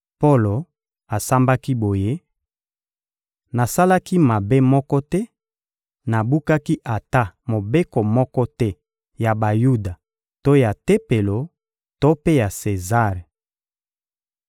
Polo asambaki boye: — Nasalaki mabe moko te, nabukaki ata mobeko moko te ya Bayuda to ya Tempelo to mpe ya Sezare.